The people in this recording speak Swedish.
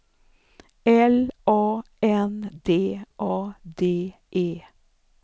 L A N D A D E